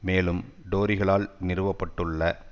மேலும் டோரிகளால் நிறுவ பட்டுள்ள